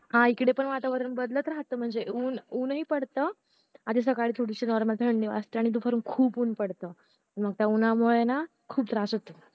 हा इकडे पण वातावरण राहत म्हणजे ऊन ऊन नाहीं पडत आणि सकाळी थोडीशी normal थंडी पण वाजते आणि दुपारी खूप ऊन पडत आणि त्या ऊन्हा मुळे खूप त्रास होतो